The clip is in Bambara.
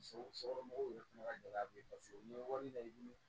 Sokɔnɔmɔgɔw tun ka gɛlɛya bɛ yen nɔ so la